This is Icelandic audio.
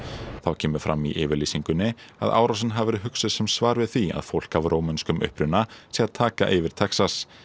þá kemur fram í yfirlýsingunni að árásin hafi verið hugsuð sem svar við því að fólk af rómönskum uppruna sé að taka yfir Texas